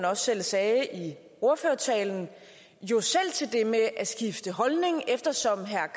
også selv sagde i ordførertalen jo selv til det med at skifte holdning eftersom herre